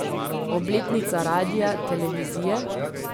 Obletnica radia, televizije?